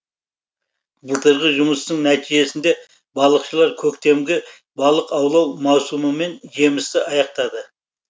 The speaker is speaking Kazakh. былтырғы жұмыстың нәтижесінде балықшылар көктемгі балық аулау маусымымен жемісті аяқтады